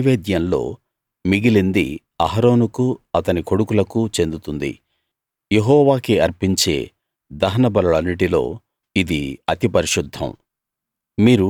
ఆ నైవేద్యంలో మిగిలింది అహరోనుకూ అతని కొడుకులకూ చెందుతుంది యెహోవాకి అర్పించే దహన బలులన్నిటిలో ఇది అతి పరిశుద్ధం